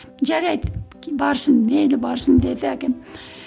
жарайды барсын мейлі барсын деді әкем